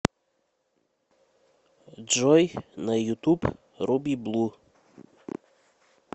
джой на ютуб руби блу